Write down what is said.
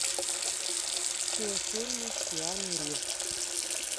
все фильмы с киану ривзом